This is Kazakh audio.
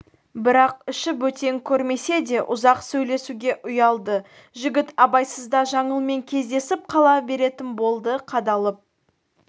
бірақ іші бөтен көрмесе де ұзақ сөйлесуге ұялды жігіт абайсызда жаңылмен кездесіп қала беретін болды қадалып